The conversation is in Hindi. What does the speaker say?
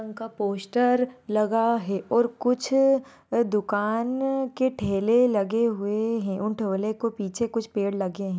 उनका पोस्टर लगा है और कुछ दुकान के ठेले लगे हुए है उन ठेले के पीछे कुछ पेड़ लगे है।